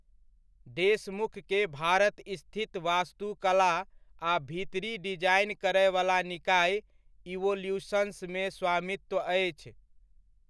देशमुख के भारत स्थित वास्तुकला आ भीतरी डिजाइन करयवला निकाय 'इवोल्यूशंस' मे स्वामित्व अछि।